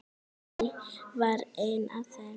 Guðný var ein af þeim.